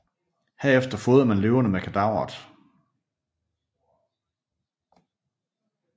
Herefter fodrede man løverne med kadaveret